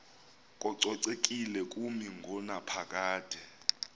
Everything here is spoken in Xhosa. kococekile kumi ngonaphakade